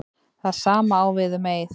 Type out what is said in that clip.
Það sama á við um Eið.